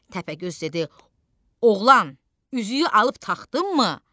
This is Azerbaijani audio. Təpəgöz dedi: Oğlan, üzüyü alıb taxdınmı?